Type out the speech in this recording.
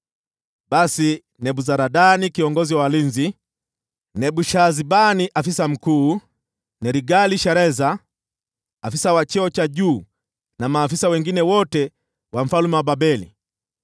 Basi Nebuzaradani kiongozi wa walinzi, Nebushazbani afisa mkuu, Nergal-Shareza afisa wa cheo cha juu, na maafisa wengine wote wa mfalme wa Babeli